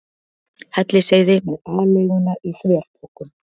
Hellisheiði með aleiguna í þverpokum.